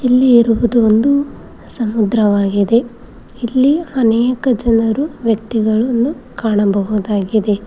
ಇಲ್ಲಿ ಇರುವುದು ಒಂದು ಸಮುದ್ರವಾಗಿದೆ ಇಲ್ಲಿ ಅನೇಕ ಜನರು ವ್ಯಕ್ತಿಗಳನ್ನು ಕಾಣಬಹುದಾಗಿದೆ.